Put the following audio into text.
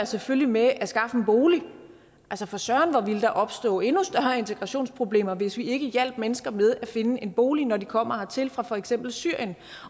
selvfølgelig med at skaffe en bolig for søren hvor ville der opstå endnu større integrationsproblemer hvis vi ikke hjalp mennesker med at finde en bolig når de kommer hertil fra for eksempel syrien